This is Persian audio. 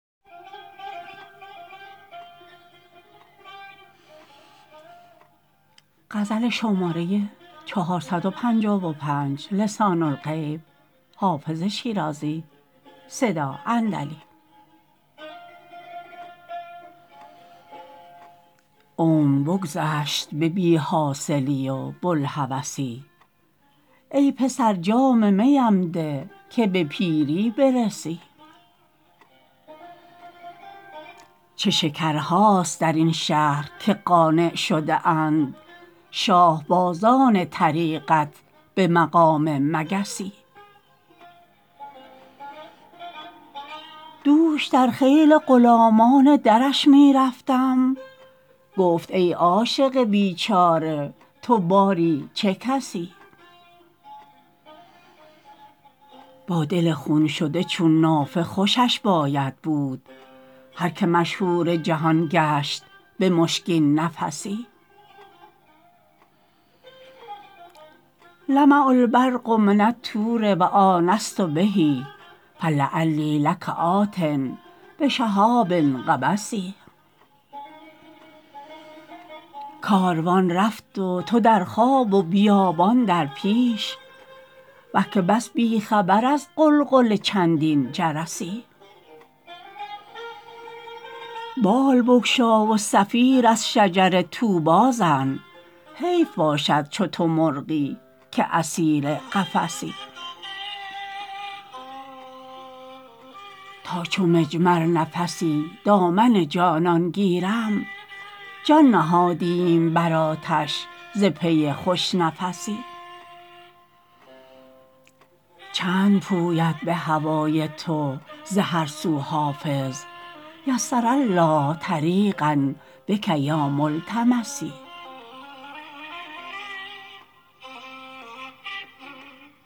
عمر بگذشت به بی حاصلی و بوالهوسی ای پسر جام می ام ده که به پیری برسی چه شکرهاست در این شهر که قانع شده اند شاه بازان طریقت به مقام مگسی دوش در خیل غلامان درش می رفتم گفت ای عاشق بیچاره تو باری چه کسی با دل خون شده چون نافه خوشش باید بود هر که مشهور جهان گشت به مشکین نفسی لمع البرق من الطور و آنست به فلعلی لک آت بشهاب قبس کاروان رفت و تو در خواب و بیابان در پیش وه که بس بی خبر از غلغل چندین جرسی بال بگشا و صفیر از شجر طوبی زن حیف باشد چو تو مرغی که اسیر قفسی تا چو مجمر نفسی دامن جانان گیرم جان نهادیم بر آتش ز پی خوش نفسی چند پوید به هوای تو ز هر سو حافظ یسر الله طریقا بک یا ملتمسی